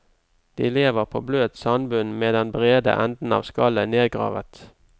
De lever på bløt sandbunn med den brede enden av skallet nedgravet.